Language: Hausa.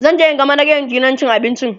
zanje in ga manajan gidan cin abincin